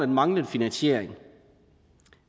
manglende finansiering